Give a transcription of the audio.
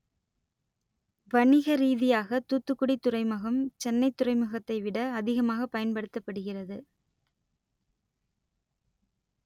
வணிக ரீதியாக தூத்துக்குடி துறைமுகம் சென்னை துறைமுகத்தை விட அதிகமாக பயன்படுத்தப்படுகிறது